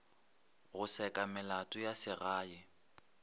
go seka melato ya segae